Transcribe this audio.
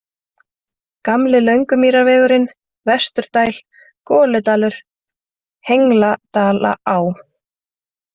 Gamli Löngumýrarvegurinn, Vesturdæl, Goludalur, Hengladalaá